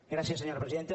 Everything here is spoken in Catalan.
gràcies senyora presidenta